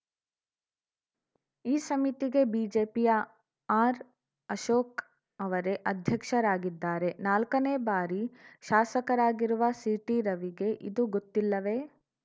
ಈ ಸಮಿತಿಗೆ ಬಿಜೆಪಿಯ ಆರ್‌ಅಶೋಕ್‌ ಅವರೇ ಅಧ್ಯಕ್ಷರಾಗಿದ್ದಾರೆ ನಾಲ್ಕನೇ ಬಾರಿ ಶಾಸಕರಾಗಿರುವ ಸಿಟಿರವಿಗೆ ಇದು ಗೊತ್ತಿಲ್ಲವೆ